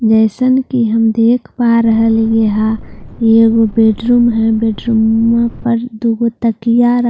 जैसन के हम देख पा रह लिए है ये ऊ बैड रूम है बैड रूमम पर दो तकियां रखल है जो--